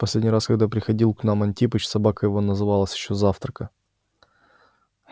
в последний раз когда приходил к нам антипыч собака его называлась ещё затравка